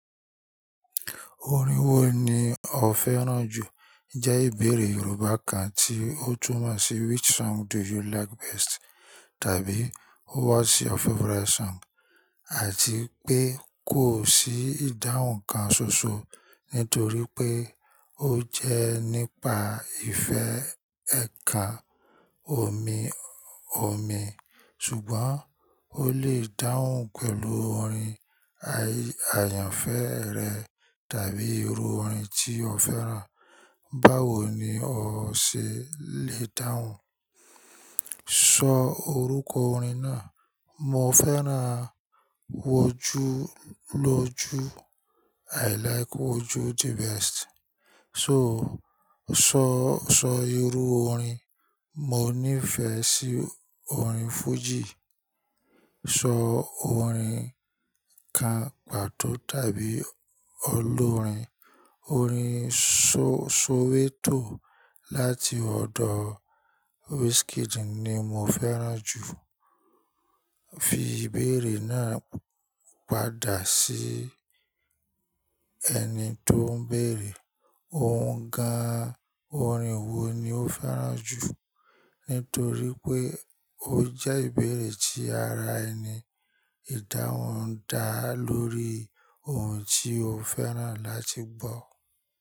Orin wo ni o fẹ́ràn jù? Jẹ́ ìbéèrè Yorùbá kan tí ó tún mọ̀ sí "Which song do you like best?" tàbí "What's your favourite song?" Àti pé kò sí ìdáhùn kan ṣoṣo nítorí pé ó jẹ́ nípa ìfẹ́ ẹ̀kàn omi-omi. Ṣùgbọ́n ó lè dáhùn pẹ̀lú orin ayanfẹ́ rẹ tàbí irú orin tí o fẹ́ràn. Báwo ni o ṣe lè dáhùn? Sọ orúkọ orin náà. Mo fẹ́ràn Woju lóju. I like Woju the best. Sọ, so sọ irú orin. Mo nífẹ̀ẹ́ sí orin fújì. Sọ orin kan pàtó tàbí olórin. Orin Soweto láti ọ̀dọ̀ Wizkid ni mo fẹ́ràn jù. Fi ìbéèrè náà padà sí ẹni tó ń béèrè. Òun gan-an orin wo ni ó fẹ́ràn jù? Nítorí pé ó jẹ́ ìbéèrè tí ara ẹni. Ìdáhùn ń dá lórí ohun tí o fẹ́ràn láti gbọ́.